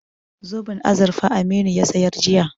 Zoben azurfa Aminu ya sayar jiya.